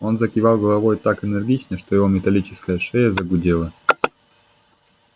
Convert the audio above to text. он закивал головой так энергично что его металлическая шея загудела